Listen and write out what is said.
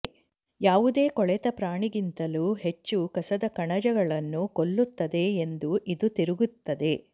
ಯಾವುದೇ ಕೊಳೆತ ಪ್ರಾಣಿಗಿಂತಲೂ ಹೆಚ್ಚು ಕಸದ ಕಣಜಗಳನ್ನು ಕೊಲ್ಲುತ್ತದೆ ಎಂದು ಇದು ತಿರುಗುತ್ತದೆ